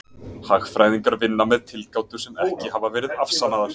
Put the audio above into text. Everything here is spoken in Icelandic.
hagfræðingar vinna með tilgátur sem ekki hafa verið afsannaðar